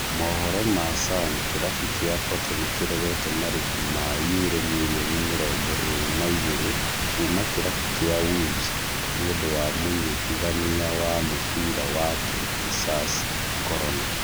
Mohoro ma Sun kĩrabu kĩa Porto nĩkĩregete marĩhĩ ma yuro mirioni mĩrongo ĩrĩ na igĩrĩ Kuma kĩrabu kĩa Wolves nĩũndũ wa mũnyitithania wa mũbĩra wake Jesus Corona